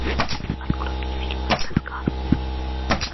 открой мне фильм мадагаскар